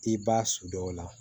I b'a sudɔ la